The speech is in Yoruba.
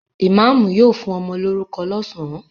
Ìmáámù yóò fún ọmọ lórúkọ lọ́sàn-án.